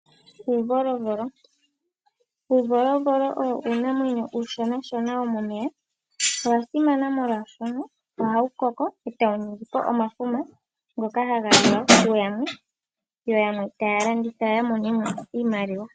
Uuvolovolo/uuziyoziyo. Uuvolovolo owo uunamwenyo uushona womomeya . Owasimana molwaashoka ohawu koko eta wu ningi omafuma ngoka haga liwa kuyalwe yo yamwe taya landitha yamonemo iimaliwa.